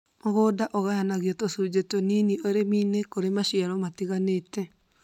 Mũgũnda ũgayanagio tũcunjĩ tũnini ũrĩminĩ kũrĩ maciaro tofauti